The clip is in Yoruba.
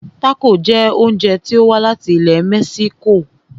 Tácò jẹ oúnjẹ tí o wá láti ilẹ̀ mexico.